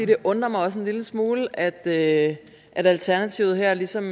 det undrer mig en lille smule at at alternativet her ligesom